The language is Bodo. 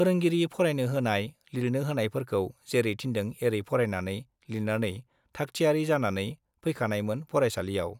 फोरोंगिरि फरायनो होनाय, लिरनो होनायफोरखौ जेरै थिन्दों एरै फरायनानै, लिरनानै थाखथियारी जानानै फैखानायमोन फरायसालियाव।